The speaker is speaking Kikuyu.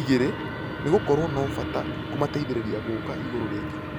igĩrĩ nĩgũkorwo na bata kũmateithereria gũũka igũrũ rĩngĩ.